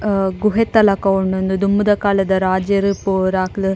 ಆ ಗುಹೆತ ಲಕ ಉಂಡು ಉಂದು ದುಂಬುದ ಕಾಲದ ರಾಜೆರ್ ಪೂರ ಅಕ್ಲ್.